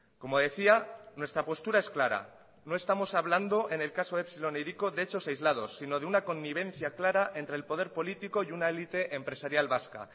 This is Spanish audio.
como decía nuestra postura es clara no estamos hablando en el caso epsilon e hiriko de hechos aislados sino de una connivencia clara entre el poder político y una élite empresarial vasca